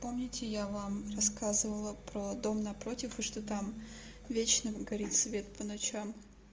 помните я вам рассказывала про дом напротив и что там вечно горит свет по ночам